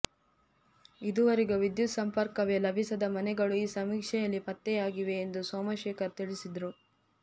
ಇದುವರೆಗೂ ವಿದ್ಯುತ್ ಸಂಪರ್ಕವೇ ಲಭಿಸದ ಮನೆಗಳು ಈ ಸಮೀಕ್ಷೆಯಲ್ಲಿ ಪತ್ತೆಯಾಗಿವೆ ಎಂದು ಸೋಮಶೇಖರ್ ತಿಳಿಸಿದರು